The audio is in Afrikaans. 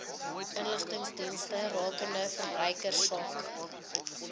inligtingsdienste rakende verbruikersake